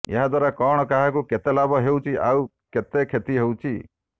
ଏହାଦ୍ବାରା କଣ କାହାକୁ କେତେ ଲାଭ ହେଉଛି ଆଉ କେତେ କ୍ଷତି ହେଉଛି